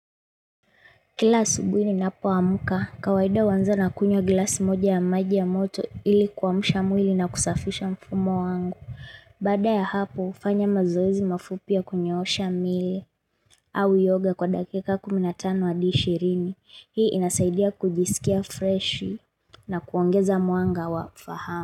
Kila asubuhi ninapoamuka, kawaida huanza na kunywa glasi moja ya maji ya moto ili kuamsha mwili na kusafisha mfumo wangu. Baada ya hapo, hufanya mazoezi mafupi ya kunyoosha miili au yoga kwa dakika kumi na tano adi ishirini. Hii inasaidia kujisikia freshi na kuongeza mwanga wa fahamu.